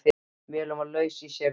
Mölin var laus í sér og seinfarin.